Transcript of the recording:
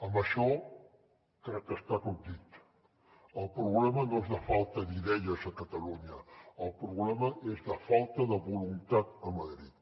amb això crec que està tot dit el problema no és de falta d’idees a catalunya el problema és de falta de voluntat a madrid